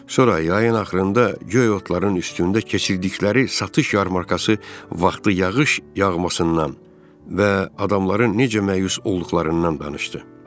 Sonra yayın axırında göy otların üstündə keçirdikləri satış yarmarkası vaxtı yağış yağmasından və adamların necə məyus olduqlarından danışdı.